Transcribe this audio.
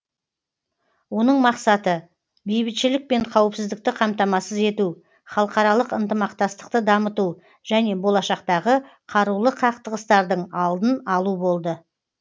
оның мақсаты бейбітшілік пен қауіпсіздікті қамтамасыз ету халықаралық ынтымақтастықты дамыту және болашақтағы қарулы қақтығыстардың алдын алу болды